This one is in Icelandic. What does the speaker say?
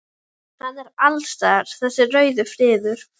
Hann er alls staðar þessi rauði friður.